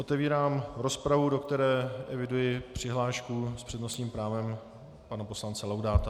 Otevírám rozpravu, do které eviduji přihlášku s přednostním právem pana poslance Laudáta.